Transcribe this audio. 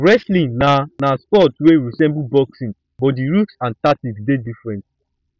wrestling na na sport wey resemble boxing but di rules and tactics dey different